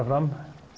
fram